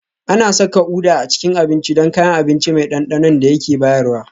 Ana saka Uda a cikin abinci don kayan abinci mai ɗanɗanon da yake bayarwa